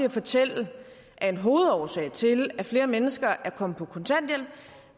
at fortælle at en af hovedårsagerne til at flere mennesker er kommet på kontanthjælp